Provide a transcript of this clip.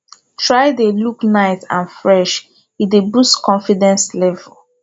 try de look nice and fresh e dey boost confidence level